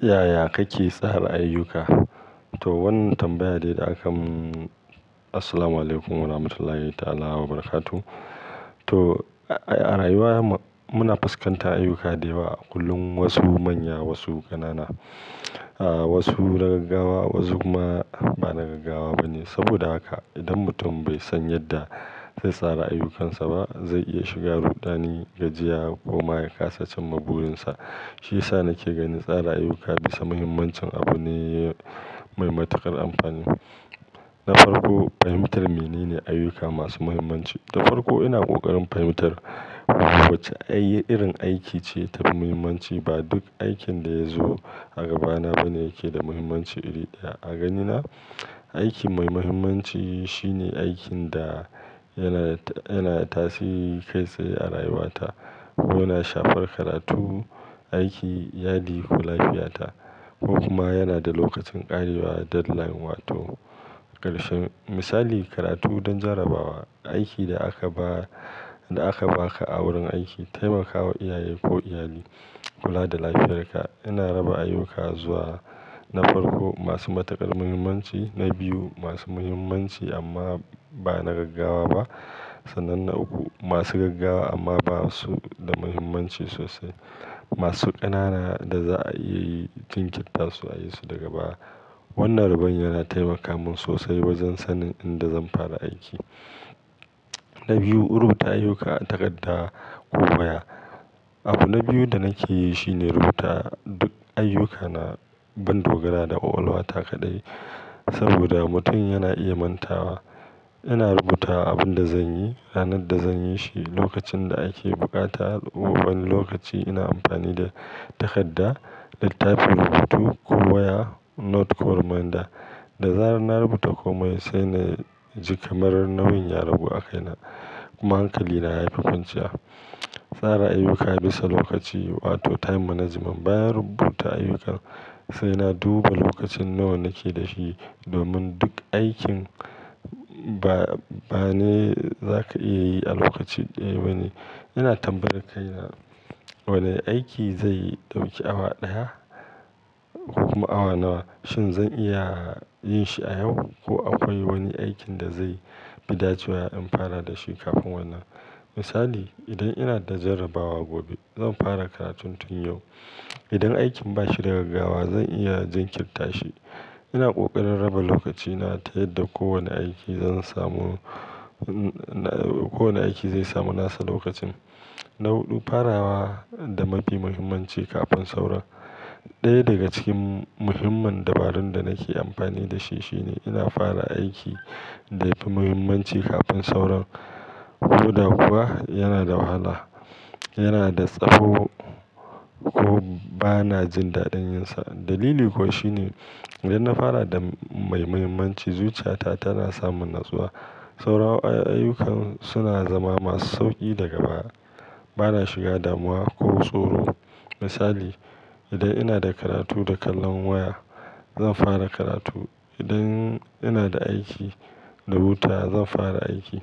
Yaya kake tsara ayyuka? To, wannan tambayar de da aka Assalamualaikum Warahmatullahi Ta'ala Wabarakatuh. To, a rayuwa muna fuskantar ayyuka da yawa, kullum wasu manya wasu ƙanana, wasu na gaggawa wasu kuma ba na gaggawa ba ne. Saboda haka idan mutum bai san yadda zai tsara ayyukansa ba, zai iya shiga rudani, gajiya ko ma ya kasa cimma burinsa. Shiyasa nake gani tsara ayyuka bisa muhimmancin abu ne mai matuƙar amfani. Na farko, fahimtar menene ayyuka masu muhimmanci. Da farko ina ƙoƙarin fahimtar wace irin aiki ce ta fi muhimmanci. Ba duk aikin da ya zo a gabana ba ne yake da muhimmanci iri ɗaya. A ganina, aiki mai muhimmanci shine aikin da yana, yanada tasiri kai tsaye a rayuwata ko yana shafar karatu, aiki, yadi ko lafiyata ko kuma yana da lokacin ƙarewa deadline wato karshe. Misali, karatu don jarabawa, aiki da aka ba, da aka baka a wurin aiki, taimakawa iyaye ko iyali, kula da lafiyarka. Ina raba ayyuka zuwa na farko masu matuƙar muhimmanci, na biyu masu muhimmanci amma ba na gaggawa ba sannan na uku masu gaggawa amma ba su da muhimmanci sosai. Masu ƙanana da za'a iya jinkirtarsu a yi su daga baya. Wannan raban yana taimaka min sosai wajen sanin inda zan fara aiki. Na biyu, rubuta ayyuka a takarda ko waya. Abu na biyu da nake yi shine rubuta duk ayyukana ban dogara da ƙwaƙwalwata kaɗai. Saboda mutum yana iya mantawa. Ina rubuta abin da zan yi, ranar da zan yi shi, lokacin da ake buƙata, ko kuma wani lokaci. Ina amfani da takarda, littafin rubutu ko waya Note koh reminder. Da zarar na rubuta komai sai na ji kamar nauyin ya ragu a kaina. Kuma hankalina ya fi kwanciya. Tsara ayyuka bisa lokaci wato time management. Bayan rubuta ayyukan sai na duba lokacin nawa nake da shi. Domin duk aikin ba, ba ne za ka iya yi a lokaci ɗaya ba ne. Ina tambayar kaina wane aiki zai ɗauki awa ɗaya ko kuma awa nawa. Shin zan iya yin shi a yau ko akwai wani aikin da zai fi dacewa in fara da shi kafin wannan. Misali, idan ina da jarabawa gobe zan fara karatun tun yau. Idan aikin ba shi da gaggawa zan iya jinkirta shi. Ina ƙoƙarin raba lokacina ta yadda kowane aiki zan samu, kowane aiki zai samu nasa lokacin. Na huɗu, farawa da mafi muhimmanci kafin sauran. Ɗaya daga cikin muhimman dabarun da nake amfani da shi shine ina fara aiki da yafi muhimmanci kafin sauran. Ko da kuwa yana da wahala, yana da tsawo ko ba na jin daɗin yin sa. Dalili kuwa shine idan na fara da mai muhimmanci zuciyata tana samun natsuwa. Sauran ayyukana suna zama masu sauƙi daga baya. Ba na shiga damuwa ko tsoro. Misali, idan ina da karatu da kallon waya zan fara karatu. Idan ina da aiki da hutawa zan fara aiki.